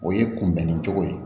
O ye kunbɛnni cogo ye